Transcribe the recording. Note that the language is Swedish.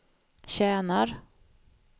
tjänar